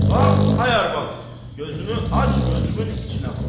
Bax, ay arvad, gözünü aç, gözümün içinə bax.